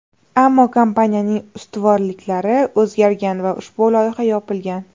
Ammo kompaniyaning ustuvorliklari o‘zgargan va ushbu loyiha yopilgan.